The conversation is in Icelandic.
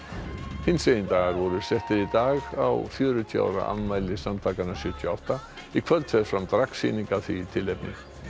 hinsegin dagar voru settir í dag á fjörutíu ára afmæli samtakanna sjötíu og átta í kvöld fer fram dragsýning af því tilefni